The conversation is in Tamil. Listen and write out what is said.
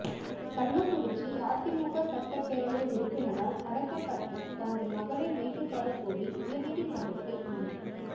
கள்ளக்குறிச்சி அதிமுக சட்டப்பேரவை உறுப்பினரால் கடத்தப்பட்ட தனது மகளை மீட்டு தரக் கோரி உயா்நீதிமன்றத்தில் மனு